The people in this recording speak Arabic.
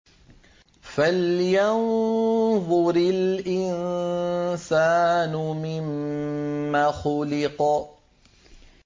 فَلْيَنظُرِ الْإِنسَانُ مِمَّ خُلِقَ